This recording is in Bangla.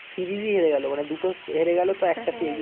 সিরিজই হেরে গেল মানে দুটো হেরে গেল তো একটাতে